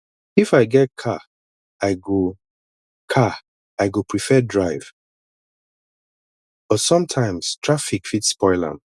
if i get car i go car i go prefer drive but sometimes traffic fit spoil am